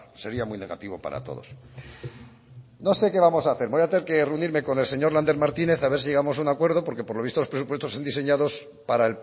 sería muy negativo para todos no sé qué vamos a hacer voy a tener que reunirme con el señor lander martínez a ver si llegamos a un acuerdo porque por lo visto los presupuestos son diseñados para